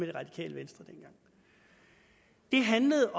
det radikale venstre handlede